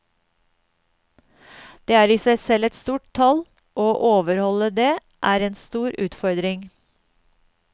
Det er i seg selv et stort tall, og å overholde det er en stor utfordring.